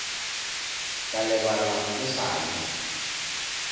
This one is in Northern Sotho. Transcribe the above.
ka lebala o sa le